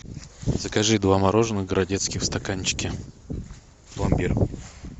закажи два мороженых городецких в стаканчике пломбир